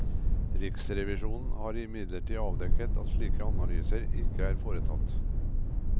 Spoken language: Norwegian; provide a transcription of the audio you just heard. Riksrevisjonen har imidlertid avdekket at slike analyser ikke er foretatt.